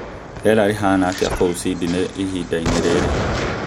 rĩera rĩhana atĩa kuu Sydney ihinda-inĩ rĩrĩ